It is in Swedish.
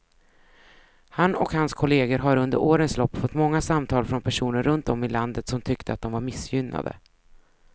Han och hans kolleger har under årens lopp fått många samtal från personer runt om i landet som tyckte att de var missgynnade.